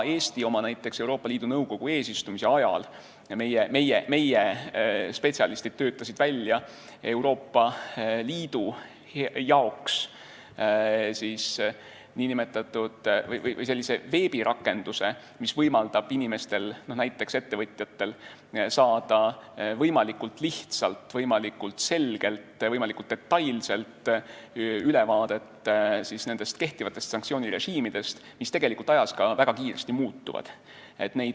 Eesti Euroopa Liidu Nõukogu eesistumise ajal töötasid meie spetsialistid Euroopa Liidu jaoks välja sellise veebirakenduse, mis võimaldab näiteks ettevõtjatel saada võimalikult lihtsalt võimalikult detailse ülevaate kehtivatest sanktsioonirežiimidest, mis tegelikult ajas väga kiiresti muutuvad.